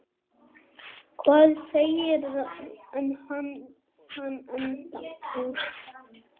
Hvað segirðu um hann, Edda?